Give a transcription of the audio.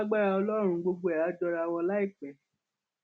lágbára ọlọrun gbogbo ẹ áà jọra wọn láìpẹ